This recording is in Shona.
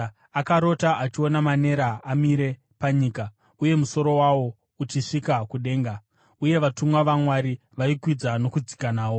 Akarota achiona manera amire panyika, uye musoro wawo uchisvika kudenga, uye vatumwa vaMwari vaikwidza nokudzika nawo.